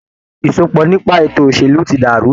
Ìsopọ̀ nípa ètò òṣèlú tí dàrú.